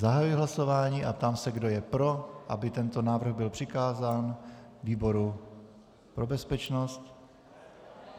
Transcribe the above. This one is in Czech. Zahajuji hlasování a ptám se, kdo je pro, aby tento návrh byl přikázán výboru pro bezpečnost.